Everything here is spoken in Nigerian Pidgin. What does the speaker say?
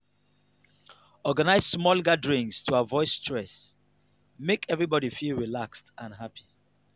organize small gatherings to avoid stress; make everybody feel relaxed and happy.